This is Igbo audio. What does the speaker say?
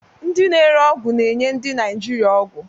Ndị na-ere ọgwụ na-enye ndị Naijiria ọgwụ.